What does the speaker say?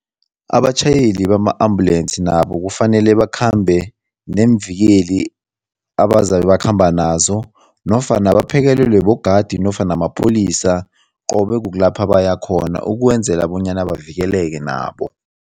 Abatjhayeli bama-ambulensi nabo kufanele bakhambe neemvikeli ebazabe bakhamba nazo nofana baphekelelwe bogadi nofana mapholisa qobe kukulapha bayakhona ukwenzela bonyana bavikeleke nabo.